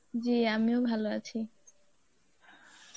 জী আমিও ভালো আছি.